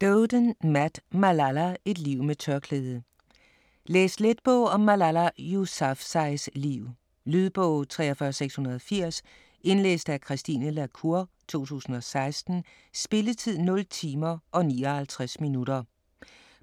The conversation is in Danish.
Doeden, Matt: Malala: et liv med tørklæde Læs let bog om Malala Yousafzais liv. Lydbog 43680 Indlæst af Christine la Cour, 2016. Spilletid: 0 timer, 59 minutter.